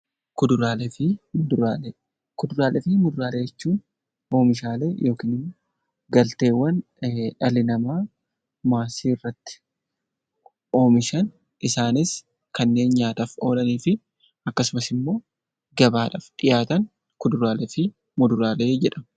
Kuduraalee fi muduraalee jechuun oomishaalee galteewwan dhalli namaa maasii irratti oomishan Isaanis kanneen nyaataaf oolanii fi akkasumas immoo gabaadhaaf dhiyaatanii fi kuduraalee fi muduraalee jedhamu